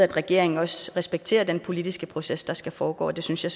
regeringen også respekterer den politiske proces der skal foregå og det synes jeg